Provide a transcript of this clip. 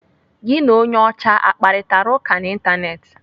Gị na onye ọcha akparitara ụka n'Ịntanetị?